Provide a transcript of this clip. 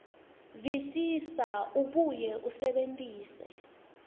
visisa abuye asebentise